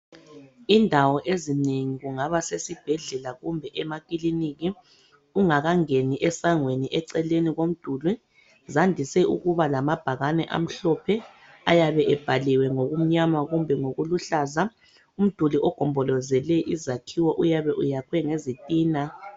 Indawo ezinengi kungaba sesibhedlela kumbe emakiliniki, ungakangeni esangweni eceleni komduli, zandise ukuba lamabhakane amhlophe, ayabe ebhaliwe ngokumnyama kumbe ngokuluhlaza. Umduli ogombolozele izakhiwo uyabe uyakhwe ngezitina.